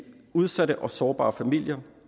udsatte og sårbare familier